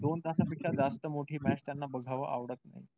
दोन तास पेक्षा जास्त मोठी match त्यांना बघावं आवडत नाही.